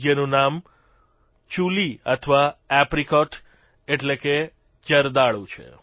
જેનું નામ ચૂલી અથવા એપ્રિકોટ એટલે કે જરદાલુ છે